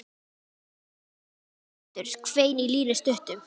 Eruð þið komin aftur? hvein í Línu stuttu.